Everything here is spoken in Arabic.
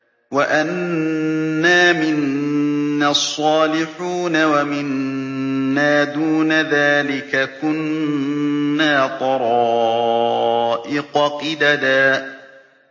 وَأَنَّا مِنَّا الصَّالِحُونَ وَمِنَّا دُونَ ذَٰلِكَ ۖ كُنَّا طَرَائِقَ قِدَدًا